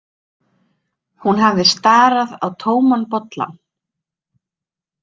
Hún hafði starað á tóman bollann.